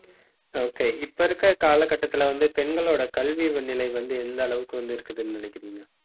okay இப்ப இருக்குற கால கட்டத்துல வந்து, பெண்களோட கல்வி நிலை வந்து எந்த அளவுக்கு வந்து இருக்குதுன்னு நினைக்கிறீங்க